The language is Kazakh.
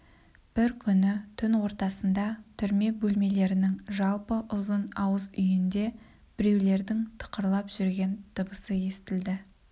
бір күні түн ортасында түрме бөлмелерінің жалпы ұзын ауыз үйінде біреулердің тықырлап жүрген дыбысы естілді